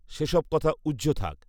সেসব কথা ঊহ্য থাক